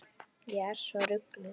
Ég er svo rugluð.